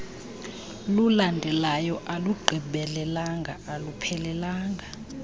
lulandelayo alugqibelelanga aluphelelanga